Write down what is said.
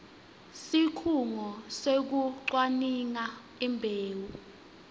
sikhungo sekucwaninga imbewu